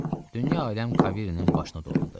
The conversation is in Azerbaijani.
Dünya-aləm Kaverinin başını dolandı.